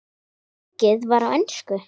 Sungið var á ensku.